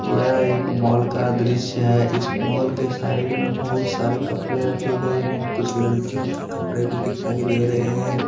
यह एक मॉल का दृश्य है इस मॉल के साइड में बहुत सारे कपड़े रखे गए हैं कुछ लड़कियों के कपड़े भी दिखाई दे रहे हैं।